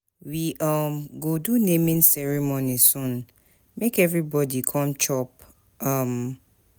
We go do naming ceremony soon make everybodi come chop.